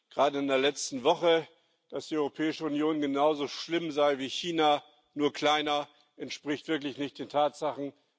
Gerade in der letzten Woche, dass die Europäische Union genauso schlimm sei wie China, nur kleiner, entspricht wirklich nicht den Tatsachen.